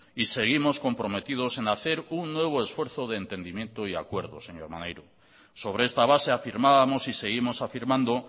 y seguimos comprometidos en hacer un nuevo esfuerzo de entendimiento y acuerdo señor maneiro sobre esta base afirmábamos y seguimos afirmando